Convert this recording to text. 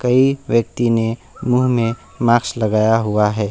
एक व्यक्ति ने मुंह में मास्क लगाया हुआ है।